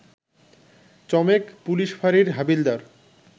চমেক police ফাঁড়ির হাবিলদার